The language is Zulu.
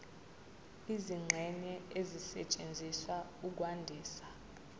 izingxenye ezisetshenziswa ukwandisa